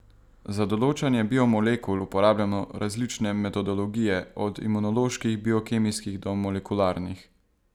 Za določanje biomolekul uporabljamo različne metodologije, od imunoloških, biokemijskih do molekularnih.